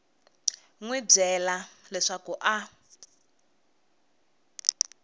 n wi byela leswaku a